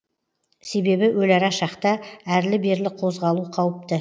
себебі өлара шақта әрлі берлі қозғалу қауіпті